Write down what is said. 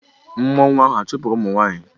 Mmwua ahụ chụpụrụ ụmụ nwanyị?